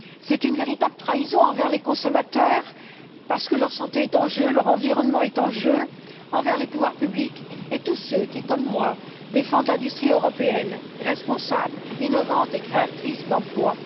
C'est une véritable trahison envers les consommateurs parce que leur santé est en jeu, leur environnement est en jeu, envers les pouvoirs publics et tous ceux qui, comme moi, défendent une industrie européenne responsable, innovante et créatrice d'emplois.